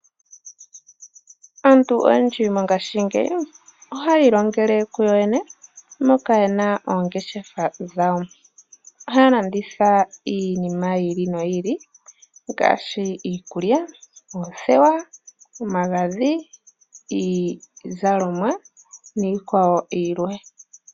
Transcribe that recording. Aantu oyendji mongashingeyi ohayi ilingele kuyo yene moka yena oongeshefa dhawo ohaalanditha iinima ya yooloka ngaashi omagadhi oothewa niizalomwa niikwawo yilwe.